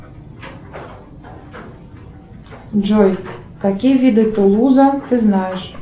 джой какие виды тулуза ты знаешь